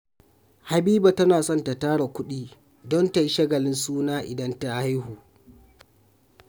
Habiba tana son ta tara kuɗi don ta yi shagalin suna idan ta haihu